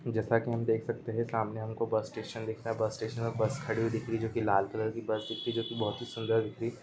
जैसा की हम देख सकते है सामने हमको बस स्टेशन दिख रहा है बस स्टेशन में बस खड़ी हुई दिख रही है जो कि लाल कलर की बस दिख रही हैं जो कि बहुत ही सुन्दर दिख